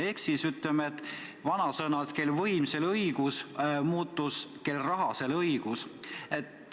Ehk ütleme nii, et vanasõna "kel võim, sel õigus" muutus ütlemiseks "kel raha, sel õigus".